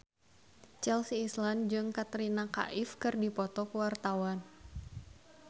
Chelsea Islan jeung Katrina Kaif keur dipoto ku wartawan